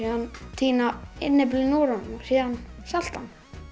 tína innyflin úr honum og salta hann